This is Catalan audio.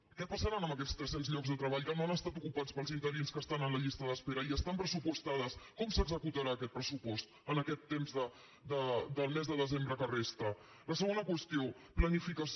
què passarà amb aquests tres·cents llocs de treball que no han es·tat ocupats pels interins que estan en la llista d’espe·ra i que estan pressupostats com s’executarà aquest pressupost en aquest temps del mes de desembre que resta la segona qüestió planificació